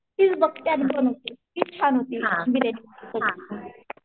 तीच बगत्या दोन तीन तिचं आनकीन बिर्याणीची